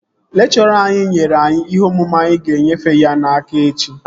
Lekchọra ahụ nyere anyị ihe omume anyị ga-enyefe ya n'aka echi